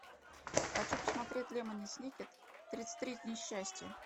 хочу посмотреть лемони сникет тридцать три несчастья